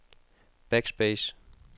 backspace